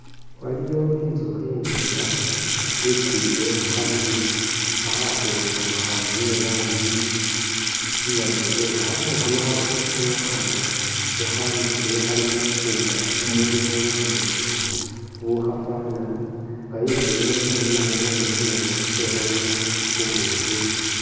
Waliwo intsukhi indwela ikwile khukhamuuli khakhakhwentsukha ni'ranji ya'blue nga khamuuli khano khabonekha nga ne khanisiile khali mukunda mulimo bumuuli bukhafana nga intsukhi ili khununamo bunule manya itse ikholemo bubukhi.